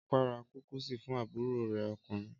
Ọpẹ́ ra kúkísì fún àbúrò rẹ̀ ọkùnrin.